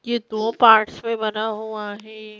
ये दो पार्ट्स में बना हुआ है।